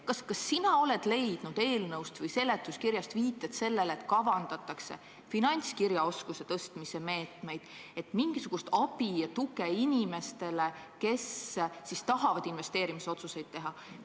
Kas sina oled leidnud eelnõust või seletuskirjast viiteid sellele, et kavandatakse finantskirjaoskuse parandamise meetmeid, et anda mingisugust abi ja tuge inimestele, kes tahavad investeerimisotsuseid teha?